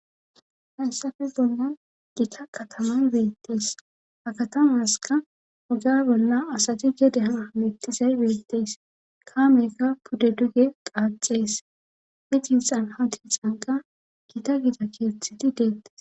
haysafe bollan gita kataman beettees hakatamaska hoga bolla asati dede han hamittizay beettees kaameykka pudde duge qaacees hicinxan ha ti canqa gita gida keetthiti deettes